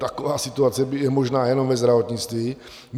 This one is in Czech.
Taková situace je možná jenom ve zdravotnictví.